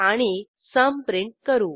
आणि सुम प्रिंट करू